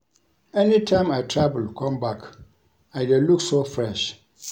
Anytime I travel come back I dey look so fresh